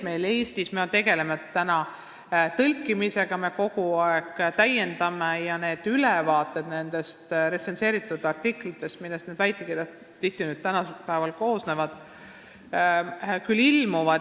Eestis tegeldakse täna tõlkimisega ja ilmuvad ülevaated nendest retsenseeritud artiklitest, millest väitekirjad täna tihti koosnevad.